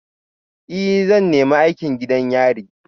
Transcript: Ee, zan nemi aikin gidan yari